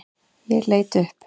Ég leit upp.